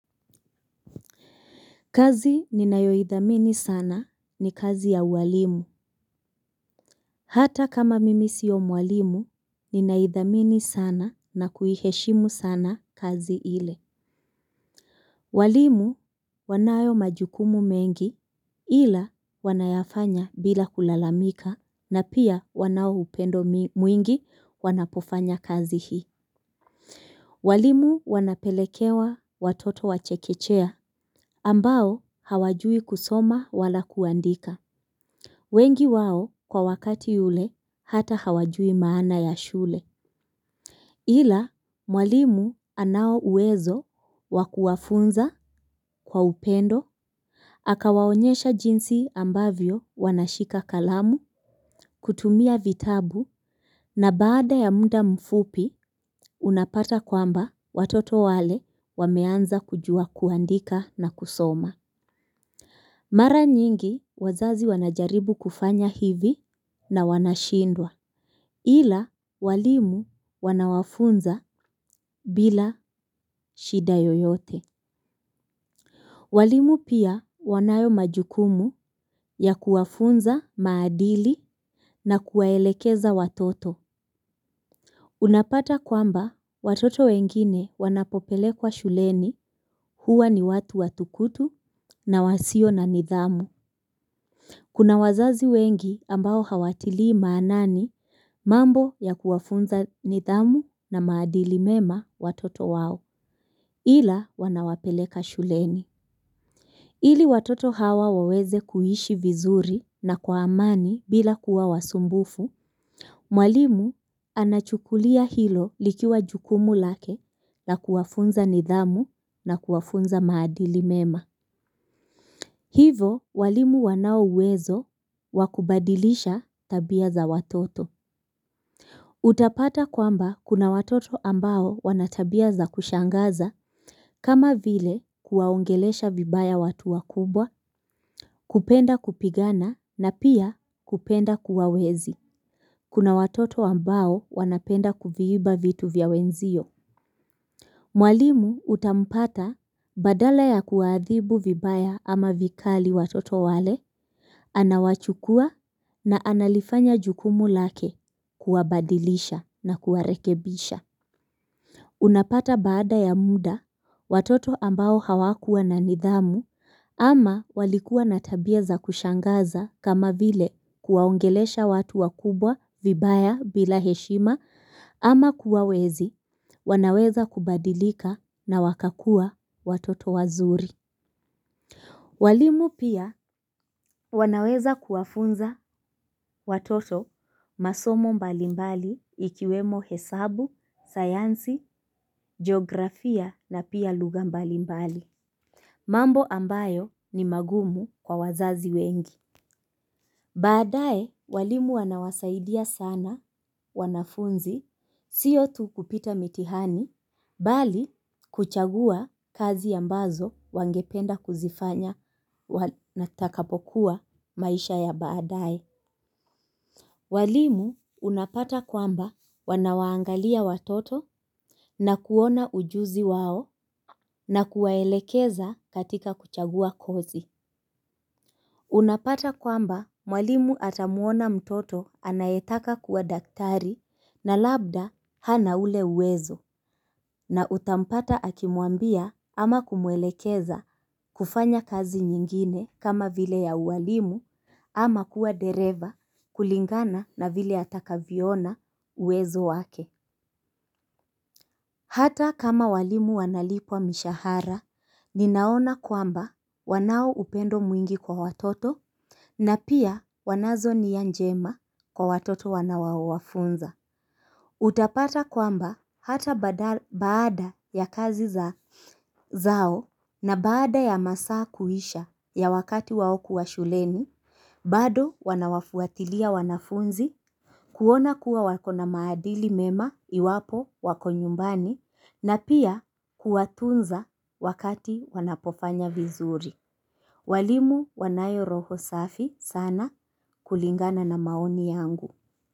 Kazi ninayo idhamini sana ni kazi ya uwalimu. Hata kama mimi siyo mwalimu, ninaidhamini sana na kuiheshimu sana kazi ile. Walimu wanayo majukumu mengi ila wanayafanya bila kulalamika na pia wanao upendo mwingi wanapofanya kazi hii. Walimu wanapelekewa watoto wachekechea ambao hawajui kusoma wala kuandika. Wengi wao kwa wakati yule hata hawajui maana ya shule. Ila mwalimu anao uwezo wakuwafunza kwa upendo. Akawaonyesha jinsi ambavyo wanashika kalamu kutumia vitabu na baada ya mda mfupi unapata kwamba watoto wale wameanza kujua kuandika na kusoma. Mara nyingi wazazi wanajaribu kufanya hivi na wanashindwa. Ila walimu wanawafunza bila shida yoyote. Walimu pia wanayo majukumu ya kuwafunza maadili na kuwaelekeza watoto. Unapata kwamba watoto wengine wanapo pelekwa shuleni huwa ni watu watukutu na wasio na nidhamu. Kuna wazazi wengi ambao hawatilii maanani mambo ya kuwafunza nidhamu na maadili mema watoto wao. Ila wanawapeleka shuleni. Ili watoto hawa waweze kuishi vizuri na kwa amani bila kuwa wasumbufu. Mwalimu anachukulia hilo likiwa jukumu lake na kuwafunza nidhamu na kuwafunza maadili mema. Hivo walimu wanao uwezo wakubadilisha tabia za watoto. Utapata kwamba kuna watoto ambao wanatabia za kushangaza kama vile kuwaongelesha vibaya watu wakubwa, kupenda kupigana na pia kupenda kuwawezi. Kuna watoto ambao wanapenda kuviiba vitu vya wenzio. Mwalimu utampata badala ya kuwaadhibu vibaya ama vikali watoto wale. Anawachukua na analifanya jukumu lake kuwabadilisha na kuwarekebisha. Unapata baada ya mda watoto ambao hawakuwa na nidhamu ama walikuwa na tabia za kushangaza kama vile kuwaongelesha watu wakubwa vibaya bila heshima ama kuwawezi wanaweza kubadilika na wakakua watoto wazuri. Walimu pia wanaweza kuwafunza watoto masomo mbalimbali ikiwemo hesabu, sayansi, geografia na pia luga mbalimbali. Mambo ambayo ni magumu kwa wazazi wengi. Baadae, walimu wanawasaidia sana, wanafunzi, sio tu kupita mitihani, bali kuchagua kazi ambazo wangependa kuzifanya na takapokuwa maisha ya baadae. Walimu unapata kwamba wanawaangalia watoto na kuona ujuzi wao na kuwaelekeza katika kuchagua kozi. Unapata kwamba mwalimu atamuona mtoto anayetaka kuwa daktari na labda hana ule uwezo na utampata akimwambia ama kumwelekeza kufanya kazi nyingine kama vile ya ualimu ama kuwa dereva kulingana na vile atakavyo ona uwezo wake. Hata kama walimu wanalipwa mishahara, ninaona kwamba wanao upendo mwingi kwa watoto, na pia wanazo nia njema kwa watoto wanaowafunza. Utapata kwamba hata baada ya kazi zao na baada ya masaa kuisha ya wakati wao kuwa shuleni, bado wanawafuatilia wanafunzi, kuona kuwa wakona maadili mema iwapo wako nyumbani, na pia kuwatunza wakati wanapofanya vizuri. Walimu wanayo roho safi sana kulingana na maoni yangu.